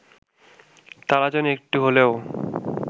তারা যেন একটু হলেও